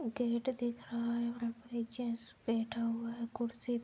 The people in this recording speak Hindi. गेट दिख रहा है और एक जेंट्स बैठा हुआ है कुर्सी --